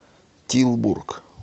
тилбург